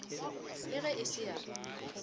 le ge e se ya